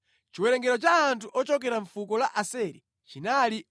Chiwerengero cha anthu ochokera mʼfuko la Aseri chinali 41,500.